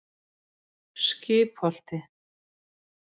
Skipholti